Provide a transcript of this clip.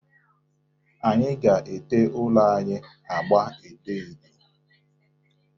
Anyị ga-ete ụlọ anyị agba edo edo.